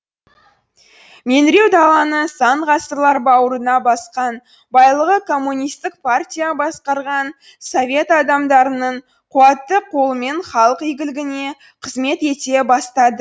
меңіреу даланың сан ғасырлар бауырына басқан байлығы коммунистік партия басқарған совет адамдарының қуатты қолымен халық игілігіне қызмет ете бастады